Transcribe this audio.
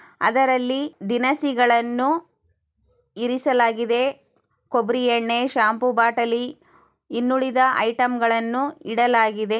ಅದರಲ್ಲಿ ದಿನಸಿಗಳ್ನು ಇರಿಸಲಾಗಿದೆ. ಕೂಬ್ಬರಿ ಎಣ್ಣೆ ಶಂಪೋ ಬಟಾಲಿ ಇನ್ನುಳಿದ ಐಟಮ್ಗಳ್ನು ಇಡಲಾಗಿದೆ.